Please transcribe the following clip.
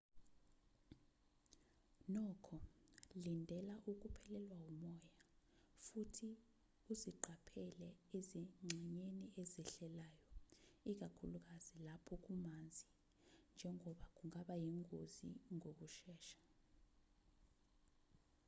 nokho lindela ukuphelelwa umoya futhi uziqaphele ezingxenyeni ezehlelayo ikakhulukazi lapho kumanzi njengoba kungaba yingozi ngokushesha